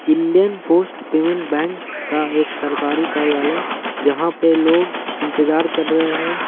Indian Bank का एक सरकारी कार्यलाई जहा पे लोग इंतजार कर रहे हैं।